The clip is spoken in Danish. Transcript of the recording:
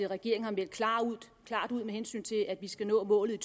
regeringen har meldt klart ud at vi skal nå målet i